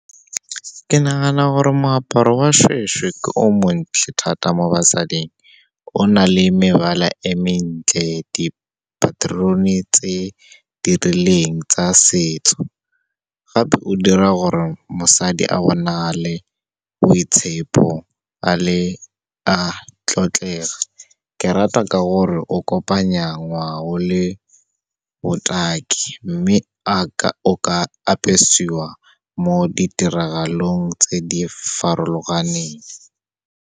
Ke nagana gore moaparo wa shweshwe ke o montle thata mo basading, o na le mebala e mentle, dipaterone tse dirileng tsa setso. Gape o dira gore mosadi a bonagale boitshepo a tlotlega. Ke rata ka gore o kopanya ngwao le botaki, mme o ka apesiwa mo ditiragalong tse di farologaneng.